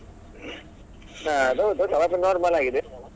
ಹಾ ಅದೌದು kebab normal ಆಗಿದೆ.